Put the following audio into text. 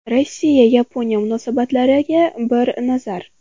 Rossiya – Yaponiya munosabatlariga bir nazar.